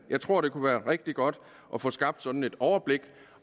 jeg tror det kunne være rigtig godt at få skabt sådan et overblik